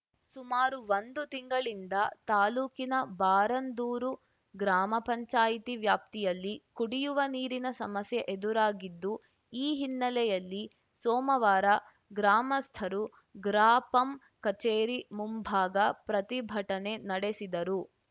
ಸುಮಾರು ಒಂದು ತಿಂಗಳಿನಿಂದ ತಾಲೂಕಿನ ಬಾರಂದೂರು ಗ್ರಾಮ ಪಂಚಾಯಿತಿ ವ್ಯಾಪ್ತಿಯಲ್ಲಿ ಕುಡಿಯುವ ನೀರಿನ ಸಮಸ್ಯೆ ಎದುರಾಗಿದ್ದು ಈ ಹಿನ್ನೆಲೆಯಲ್ಲಿ ಸೋಮವಾರ ಗ್ರಾಮಸ್ಥರು ಗ್ರಾಪಂ ಕಚೇರಿ ಮುಂಭಾಗ ಪ್ರತಿಭಟನೆ ನಡೆಸಿದರು